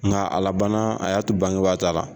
Nga a labanna a y'a to bangebaa ta la